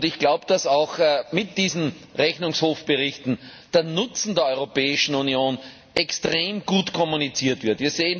Ich glaube, dass auch mit diesen Rechnungshofberichten der Nutzen der Europäischen Union extrem kommuniziert wird.